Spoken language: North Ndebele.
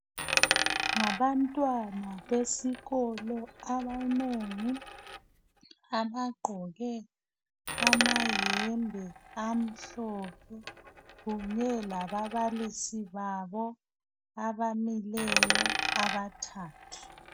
Ngabantwana besikolo abanengi abagqoke abayembe amhlophe kunye lababalisi babo abamileyo abathathu.